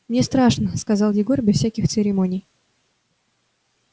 мне страшно сказал егор без всяких церемоний